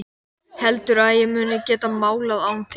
Heldurðu að ég muni geta málað án þín?